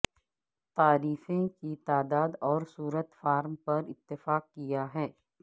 تعریفیں کی تعداد اور صورت فارم پر اتفاق کیا ہے